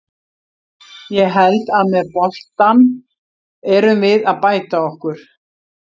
Ég held að með boltann erum við að bæta okkur.